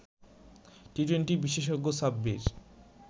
T twenty বিশেষজ্ঞ সাব্বির